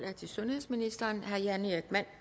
er til sundhedsministeren af herre jan erik